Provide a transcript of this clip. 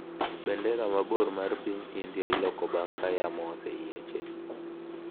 Bendera mabor mar piny India iloko bang’ ka yamo oseyiech